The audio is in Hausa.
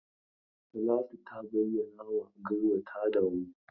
Talatu ta bayyanawa Garba ta damu.